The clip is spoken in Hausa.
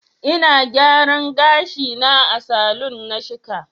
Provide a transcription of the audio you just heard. Ina gyaran gashi na a salon na shika.